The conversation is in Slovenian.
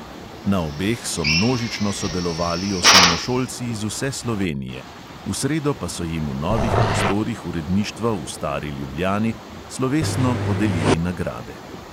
Na obeh so množično sodelovali osnovnošolci iz vse slovenije, v sredo pa so jim v novih prostorih uredništva v stari ljubljani slovesno podelili nagrade.